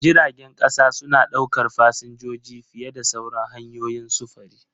Jiragen ƙasa suna ɗaukar fasinjoji fiye da sauran hanyoyin sufuri.